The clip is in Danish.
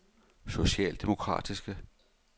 socialdemokratiske